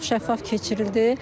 Çox şəffaf keçirildi.